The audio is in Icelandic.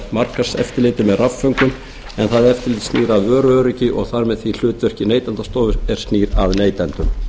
markaðseftirliti með rafföngum en það snýr að vöruöryggi og þar með því hlutverki neytendastofa er snýr að neytendum